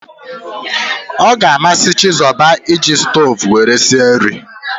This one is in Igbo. Ọ ga amasị Chizoba ị ji stoovu were sie nri